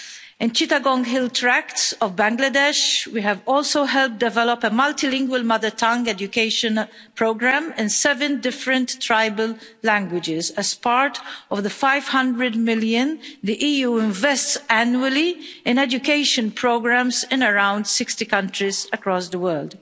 In the Chittagong Hill Tracts of Bangladesh, we have also helped develop a multilingual mother tongue education programme in seven different tribal languages as part of the 500 million the EU invests annually in education programmes in around 60 countries across the world.